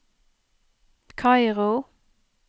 Kairo